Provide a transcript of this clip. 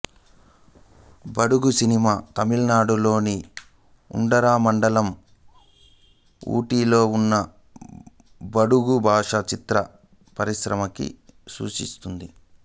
బడుగు సినిమా తమిళనాడులోని ఉడగమండళంఊటీ లో ఉన్న బడుగు భాషా చిత్ర పరిశ్రమని సూచిస్తుంది